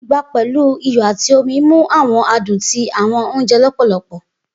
Igba pẹlu iyọ ati omi mu awọn adun ti awọn ounjẹ lọpọlọpọ.